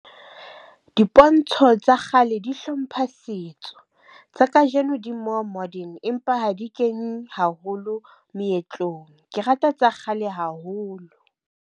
Dipontsho tsa kgale di hlompha setso tsa kajeno di more modern empa ha di kenye haholo moetlong. Ke rata tsa kgale haholo.